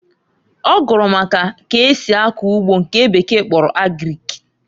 Ọ gụrụ maka k'esi akọ ugbo nke bekee kpọrọ Agrik.